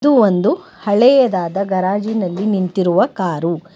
ಇದು ಒಂದು ಹಳೆಯದಾದ ಗರಾಜಿನಲ್ಲಿ ನಿಂತಿರುವ ಕಾರು.